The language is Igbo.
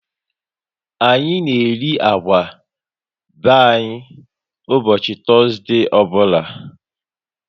Anyị na eri agwa be anyị ụbọchị Tọzdee ọbụla